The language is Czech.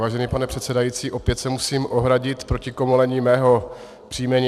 Vážený pane předsedající, opět se musím ohradit proti komolení mého příjmení.